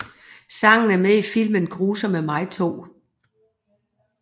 Sangen er med i filmen Grusomme mig 2